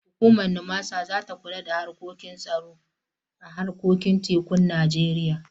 Hukumar NIMASA za ta kula da harkokin tsaro a harkokin tekun Najeriya.